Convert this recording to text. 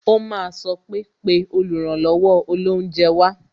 O máa sọ pé "pè oluranlowo olounje wá"